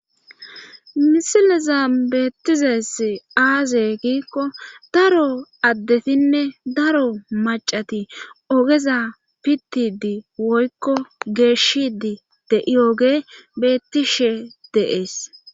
misileza beettizees aaze giikko daro addetinne daro macati ogeza pittidi woykko geeshidi de'i oge bettishe deees